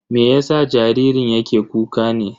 Me yasa jaririn yake kuka ne?